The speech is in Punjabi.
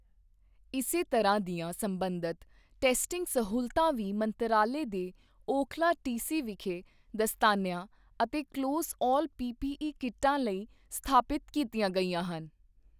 ਇਸੇ ਤਰ੍ਹਾਂ ਦੀਆਂ ਸਬੰਧਤ ਟੈਸਟਿੰਗ ਸਹੂਲਤਾਂ ਵੀ ਮੰਤਰਾਲੇ ਦੇ ਓਖਲਾ ਟੀਸੀ ਵਿਖੇ ਦਸਤਾਨਿਆਂ ਅਤੇ ਕਲੋਜ਼ ਆਲ ਪੀਪੀਈ ਕਿੱਟਾਂ ਲਈ ਸਥਾਪਿਤ ਕੀਤੀਆਂ ਗਈਆਂ ਹਨ।